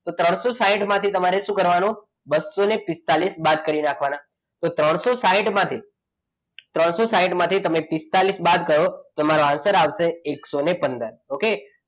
તો ત્રણસો સાઈઠ માંથી તમારે શું કરવાનું બસો પિસ્તાળીસ બાદ કરી નાખવાના. તો ત્રણસો સાઈઠ માંથી ત્રણસો સાઈઠ માંથી પિસ્તાળીસ બાદ કરો તો તમારો answer આવશે એકસો પંદર okay.